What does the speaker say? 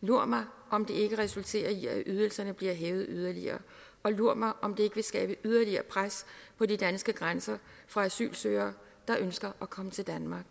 lur mig om det ikke resulterer i at ydelserne bliver hævet yderligere og lur mig om det vil skabe yderligere pres på de danske grænser fra asylsøgere der ønsker at komme til danmark